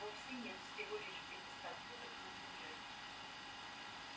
вовсе нет всего лишь в пятистах футах над землёй